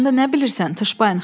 Onun haqqında nə bilirsən?